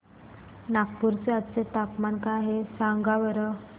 नागपूर चे आज चे तापमान काय आहे सांगा बरं